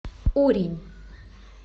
урень